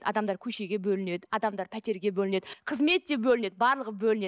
адамдар көшеге бөлінеді адамдар пәтерге бөлінеді қызмет те бөлінеді барлығы бөлінеді